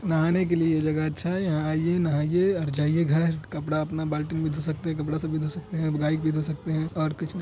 नहाने की लिए ये जगह अच्छा है यहाँ आइए नहाइये और जाइए घर कपडा अपना बाल्टी में धो सकते है कपड़ा सभी धो सकते है और भी धो सकते है और कुछ नहीं।